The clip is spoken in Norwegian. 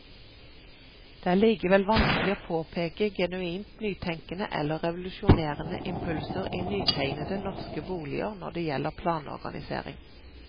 Det er likevel vanskelig å påpeke genuint nytenkende eller revolusjonerende impulser i nytegnede norske boliger når det gjelder planorganisering.